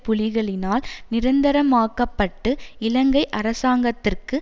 புலிகளினால் நிரந்தரமாக்கப்பட்டு இலங்கை அரசாங்கத்திற்கு